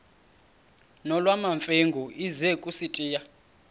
nolwamamfengu ize kusitiya